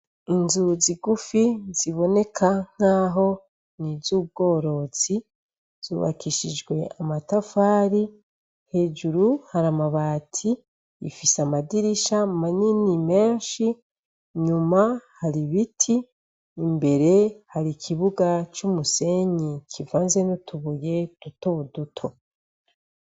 Inzu zigufi ziboneka nkaho nizubworozi zubakishijwe amatafari hejuru hari amabati ifise amadirisha manini menshi inyuma hari ibiti imbere hari ikibuga cumisenyi kivanze nutubuye duto duto